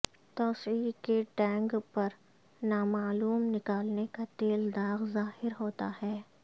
توسیع کے ٹینک پر نامعلوم نکالنے کا تیل داغ ظاہر ہوتا ہے